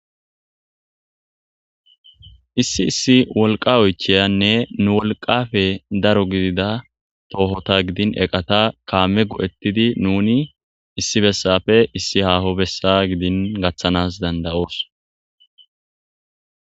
issi issi wolqa oychiyanne nu wolqafe daro gidida toohota gidin eqata kaame go7ettidi nuni issi bessappe issi haaho bessa gidin gaththanas danda7oos